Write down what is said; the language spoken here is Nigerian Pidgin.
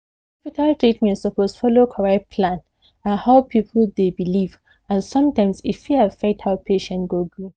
hospital treatment suppose follow correct plan and how people dey believe and sometimes e fit affect how patient go gree